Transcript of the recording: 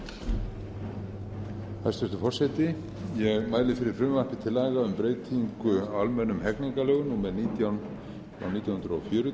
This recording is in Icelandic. hæstvirtur forseti ég mæli fyrir frumvarpi til laga um breyting á almennum hegningarlögum númer nítján nítján hundruð fjörutíu